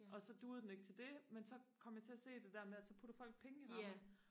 og så duede den ikke til det men så kom jeg til at se det der med at så putter folk penge i rammen